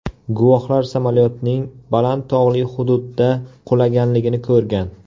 Guvohlar samolyotning baland tog‘li hududda qulaganligini ko‘rgan.